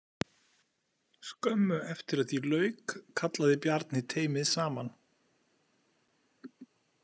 Skömmu eftir að því lauk kallaði Bjarni teymið saman.